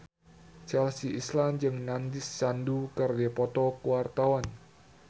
Chelsea Islan jeung Nandish Sandhu keur dipoto ku wartawan